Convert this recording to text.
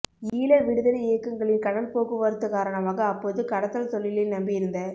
ஈழ விடுதலை இயக்கங்களின் கடல் போக்குவரத்து காரணமாக அப்போது கடத்தல் தொழிலை நம்பியிருந்த